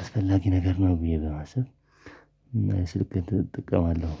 አስፈላጊ ነገር ነው ብዬ በማሰብ። ስልክህን ጥቅም አለው